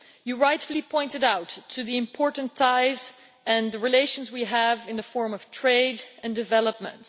You rightfully pointed out the important ties and the relations we have in the form of trade and development.